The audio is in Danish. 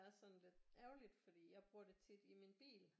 Er sådan lidt ærgerligt fordi jeg bruger det tit i min bil